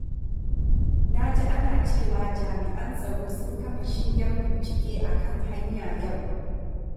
Na ji ana cewa jami’an tsaro sun kafa shingen bincike a kan hanya yau.